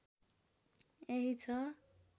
यही छ